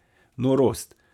Norost.